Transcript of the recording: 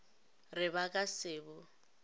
re ba ka se bo